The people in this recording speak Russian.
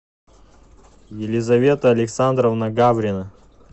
елизавета александровна гаврина